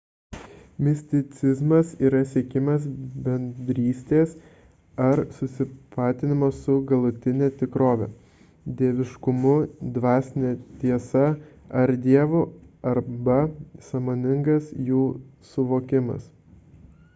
misticizmas yra siekimas bendrystės ar susitapatinimo su galutine tikrove dieviškumu dvasine tiesa ar dievu arba sąmoningas jų suvokimas